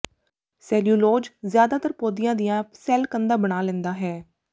cellulose ਜ਼ਿਆਦਾਤਰ ਪੌਦਿਆਂ ਦੀਆਂ ਸੈਲ ਕੰਧਾਂ ਬਣਾ ਲੈਂਦਾ ਹੈ